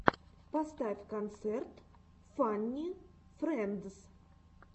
поставь концерт фанни френдс